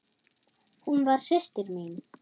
Hún var systir mín.